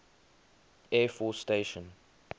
air force station